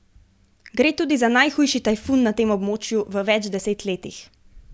Gre tudi za najhujši tajfun na tem območju v več deset letih.